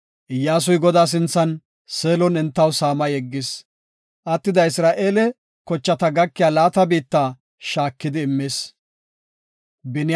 Iyyasuy Godaa sinthan, Seelon entaw saama yeggis. Attida Isra7eele zerethata gakiya laata biitta shaakidi immis.